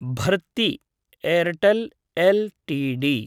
Bharti Airtel LTD